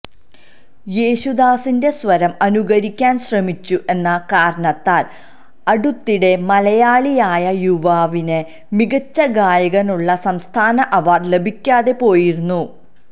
യേശുദാസിന്റെ സ്വരം അനുകരിക്കാന് ശ്രമിച്ചു എന്ന കാരണത്താല് അടുത്തിടെ മലയാളിയായ യുവാവിന് മികച്ച ഗായകനുള്ള സംസ്ഥാന അവാര്ഡ് ലഭിക്കാതെ പോയിരുന്നു